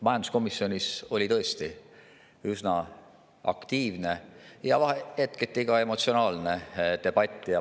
Majanduskomisjonis oli tõesti üsna aktiivne ja hetketi ka emotsionaalne debatt.